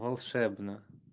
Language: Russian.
волшебно